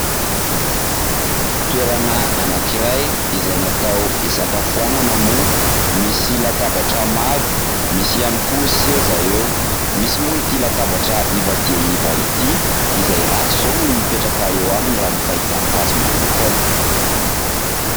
Toerana anankiray izay natao isakafoanana moa, misy latabatra maro, misy ihany koa seza eo, misy moa ity latabatra iva dia iva ity izay ratsy izao ny mipetraka eo aminy raha ny fahitako azy manokana.